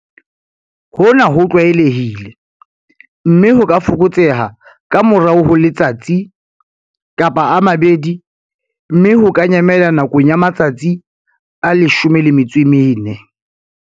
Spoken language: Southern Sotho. Hona ho tlwaelehile, mme ho ka fokotseha ka morao ho letsatsi, kapa a mabedi, mme ho ka nyamela nakong ya matsatsi a 14.